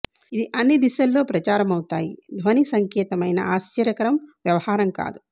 ఇది అన్ని దిశల్లో ప్రచారమవుతాయి ధ్వని సంకేతమైన ఆశ్చర్యకరం వ్యవహారం కాదు